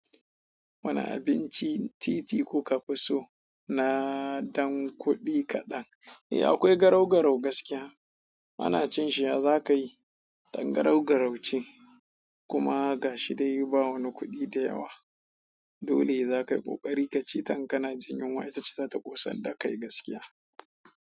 Wani abinci titi kuka fi so, na ɗan kuɗi kaɗan? Eh akwai garau-garau gaskiya. Ana cin shi ya za ka yi ɗan garau-garau ce kuma gashi dai ba wani kuɗi da yawa. Dole za ka yi ƙoƙari ka ci ta in kana jin yunwa ita ce za ta ƙosar da kai gaskiya.